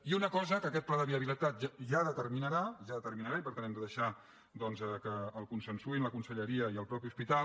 i una cosa que aquest pla de viabilitat ja determinarà ja determina·rà i per tant hem de deixar doncs que el consen·suïn la conselleria i el mateix hospital